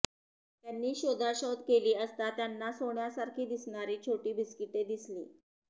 त्यांनी शोधाशोध केली असता त्यांना सोन्यासारखी दिसणारी छोटी बिस्किटे दिसली